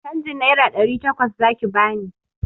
Canjin naira ɗari takwas zaki bani!